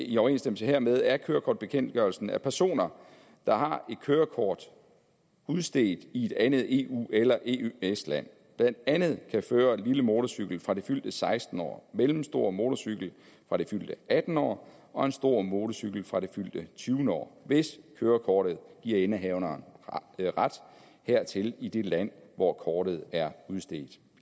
i overensstemmelse hermed af kørekortbekendtgørelsen at personer der har et kørekort udstedt i et andet eueøs land blandt andet kan føre lille motorcykel fra det fyldte sekstende år mellemstor motorcykel fra det fyldte attende år og stor motorcykel fra det fyldte tyvende år hvis kørekortet giver indehaveren ret hertil i det land hvor kortet er udstedt